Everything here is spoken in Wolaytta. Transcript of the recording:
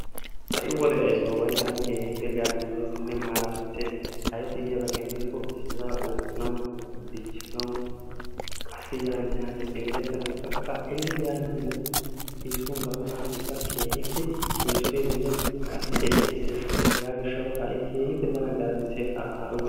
Ha'i wode ayssuwaba tana keehippe garamessiayssinn mallalessi ayssi giyaaba keena giyaaba gidiko issiiba oottanaw dichchanaw qassi yaanne haanne simeretanaw baqa elle yaanne haanne eessuwan gatanassikke keehippe eessotessinne qassi ellelessiees. hega gishshaw ha'i keehippe tana garamisses ha'i wode